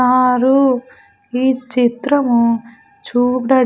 ఆరు ఈ చిత్రము చూడ--